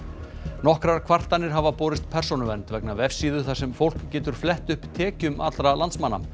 nokkrar kvartanir hafa borist Persónuvernd vegna vefsíðu þar sem fólk getur flett upp tekjum allra landsmanna